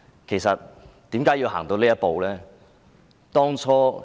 其實為何要走到這一步呢？